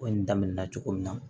Ko in daminɛna cogo min na